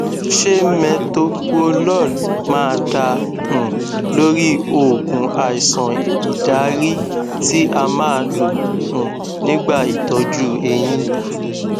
ṣé metoprolol máa dá um lórí oogun àìsàn ìdarí tí a máa lò um nígbà itọju eyín